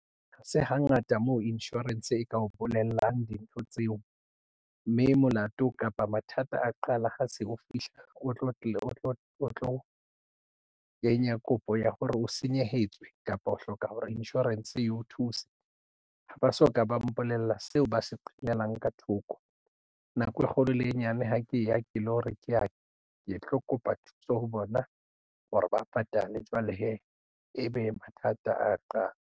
Ha se hangata moo insurance e ka o bolellang dintho tseo mme molato kapa mathata a qala ha se o fihla o tlo kenya kopo ya hore o senyehetswe kapa o hloka hore insurance e o thuse. Ha ba so ka ba mpolella seo ba se qhelelang ka thoko nako e kgolo le e nyane ha ke ya ke lo re ke tlo kopa thuso ho bona hore ba patale jwale hee ebe mathata a ya qala.